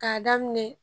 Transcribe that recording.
K'a daminɛ